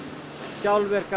sjálfvirkar